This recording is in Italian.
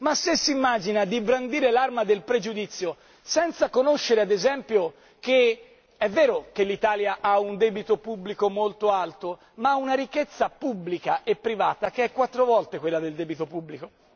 Ma se si immagina di brandire l'arma del pregiudizio, senza conoscere, ad esempio, che, se è vero che l'Italia ha un debito pubblico molto alto, essa ha però una ricchezza pubblica e privata che è quattro volte quella del debito pubblico.